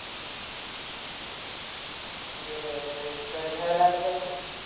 बर आहे बर आहे काय बाहेर आला काय थोडं.